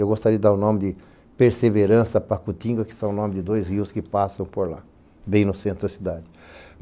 Eu gostaria de dar o nome de Perseverança Pacutinga, que é o nome de dois rios que passam por lá, bem no centro da cidade.